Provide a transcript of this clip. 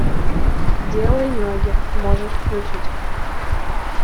делай ноги можешь включить